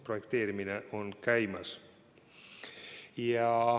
Projekteerimine on käimas.